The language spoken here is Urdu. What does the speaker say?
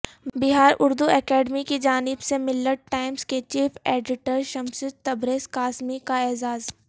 بہار اردو اکیڈمی کی جانب سے ملت ٹائمز کے چیف ایڈیٹر شمس تبریزقاسمی کا اعزاز